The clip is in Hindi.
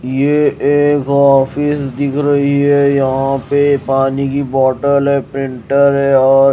ये एक ऑफिस दिख रही है यहां पर पानी की बोटल है प्रिंटर है और--